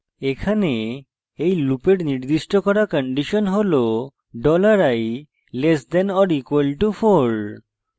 এখন এই লুপের নির্দিষ্ট করা condition হল $i less than or equal to 4